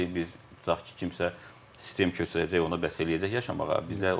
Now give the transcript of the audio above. Yəni biz tutaq ki, kimsə sistem köçürəcək, ona bəs eləyəcək yaşamağa.